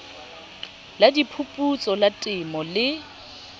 la diphuputso la temo le